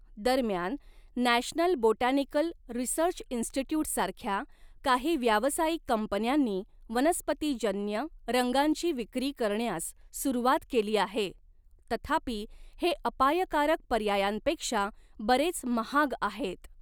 दरम्यान, National Botanical Research Institute सारख्या काही व्यावसायिक कंपन्यांनी 'वनस्पतीजन्य' रंगांची विक्री करण्यास सुरुवात केली आहे, तथापि हे अपायकारक पर्यायांपेक्षा बरेच महाग आहेत.